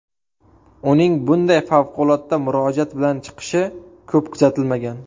Uning bunday favqulodda murojaat bilan chiqishi ko‘p kuzatilmagan.